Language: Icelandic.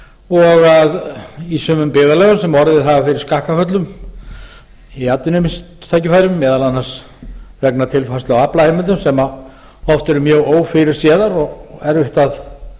og að í sumum byggðarlögum sem orðið hafa fyrir skakkaföllum í atvinnutækifærum meðal annars vegna tilfærslu á aflaheimildum sem oft eru mjög ófyrirséðar og erfitt að